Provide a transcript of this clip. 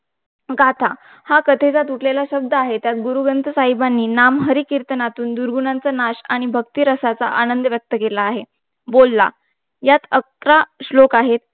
गाथा हा कथेचा तुटलेले शब्द आहे यात गुरु ग्रंथ साहेबानी नाम हरी कीर्तनातून दुर्गुणांचा नाश आणि भक्ती रसांचा आनंद व्यक्त अकेला आहे बोलला यात अकरा श्लोक आहे